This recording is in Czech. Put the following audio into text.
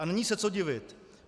A není se co divit.